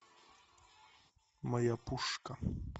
моя пушка